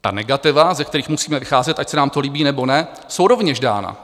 Ta negativa, ze kterých musíme vycházet, ať se nám to líbí, nebo ne, jsou rovněž dána.